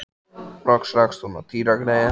Loks rakst hún á Týra greyið.